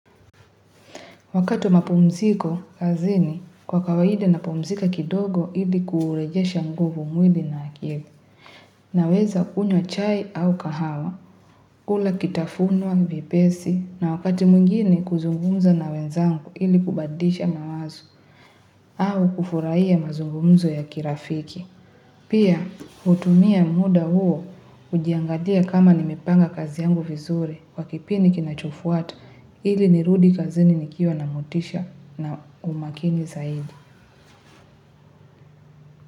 Wakati wa mapumziko, kazini, kwa kawaida napumzika kidogo ili kuurejesha nguvu mwili na akili. Naweza kunywa chai au kahawa, kula kitafunwa vyepesi, na wakati mwingine kuzungumza na wenzangu ili kubadisha mawazo, au kufurahia mazungumzo ya kirafiki. Pia hutumia muda huo kujiangalia kama nimepanga kazi yangu vizuri kwa kipindi kinachofuata ili nirudi kazini nikiwa na motisha na umakini zaidi.